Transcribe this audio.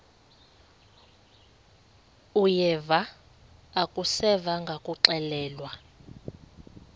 uyeva akuseva ngakuxelelwa